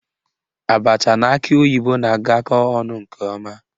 Abacha na akị oyibo na-agakọ ọnụ nke ọma